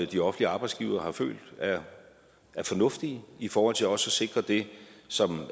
de offentlige arbejdsgivere har følt er fornuftige i forhold til også at sikre det som